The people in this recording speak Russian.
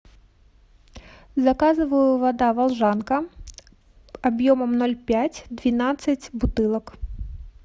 заказываю вода волжанка объемом ноль пять двенадцать бутылок